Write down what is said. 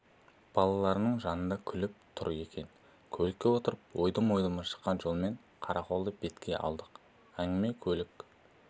балаларының жанында күтіп тұр екен көлікке отырып ойдым-ойдымы шыққан жолмен қарақолды бетке алдық әңгіме көлік